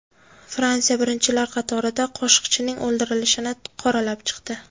Fransiya birinchilar qatorida Qoshiqchining o‘ldirilishini qoralab chiqdi.